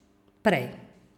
Prej.